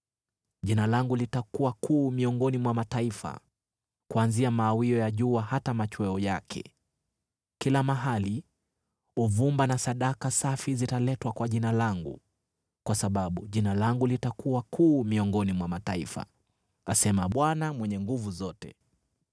Jina langu litakuwa kuu miongoni mwa mataifa, kuanzia mawio ya jua hata machweo yake. Kila mahali uvumba na sadaka safi zitaletwa kwa Jina langu, kwa sababu Jina langu litakuwa kuu miongoni mwa mataifa,” asema Bwana Mwenye Nguvu Zote.